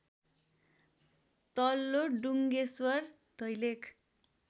तल्लो डुङ्गेश्वर दैलेख